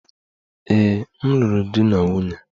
Ee, m lụrụ di na nwunye.